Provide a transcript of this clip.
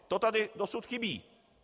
To tady dosud chybí.